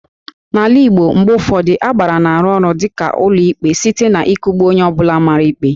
N'ala Igbo, mgbe ụfọdụ Agbara na-arụ ọrụ dịka ụlọikpe site n'ịkụgbu onye ọ bụla mara ikpe